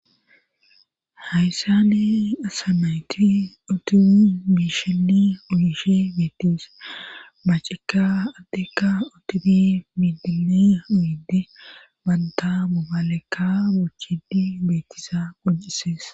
Hayssani asamayti oti biisheli uyishe beettis macika attekka otufi bidini uyyidi banta mubalekka bochidi beettisa qojisees.